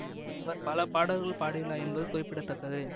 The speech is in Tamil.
இவர் பல பாடல்கள் பாடியுள்ளார் என்பது குறிப்பிட தக்கது